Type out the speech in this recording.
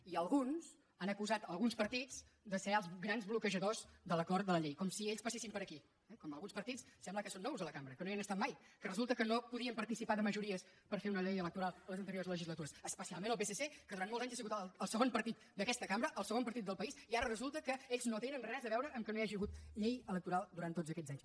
i alguns han acusat alguns partits de ser els grans bloquejadors de l’acord de la llei com si ells passessin per aquí eh alguns partits sembla que són nous a la cambra que no hi han estat mai que resulta que no podien participar de majories per fer una llei electoral les anteriors legislatures especialment el psc que durant molts anys ha sigut el segon partit d’aquesta cambra el segon partit del país i ara resulta que ells no tenen res a veure amb el fet que no hi hagi hagut llei electoral durant tots aquests anys